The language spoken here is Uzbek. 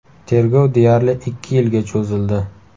Tergov deyarli ikki yilga cho‘zildi.